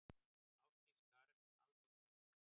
Ásdís Karen Halldórsdóttir.